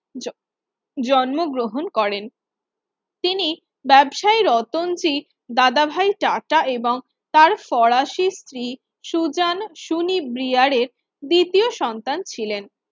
জন্ম জন্ম গ্রহণ করেন তিনি ব্যাবসায়ী রতঞ্জীর দাদাভাই টাটা এবং তার ফরাসি স্ত্রী সুজান সুনি ব্রিয়ার এর দ্বিতীয় সন্তান ছিলেন